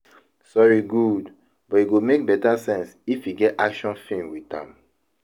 Sori gud but e go mek beta sense if e get action film wit am